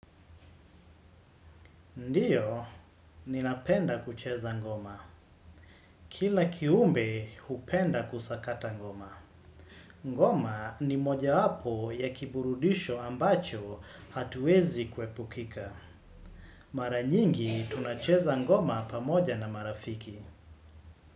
Ndiyo ninapenda kucheza ngoma. Kila kiumbe hupenda kusakata ngoma. Ngoma ni mojawapo ya kiburudisho ambacho hatuwezi kuepukika. Mara nyingi tunacheza ngoma pamoja na marafiki.